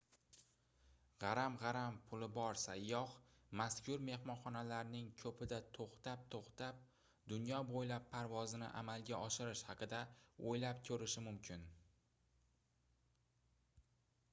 gʻaram-gʻaram puli bor sayyoh mazkur mehmonxonalarning koʻpida toʻxtab-toʻxtab dunyo boʻylab parvozni amalga oshirish haqida oʻylab koʻrishi mumkin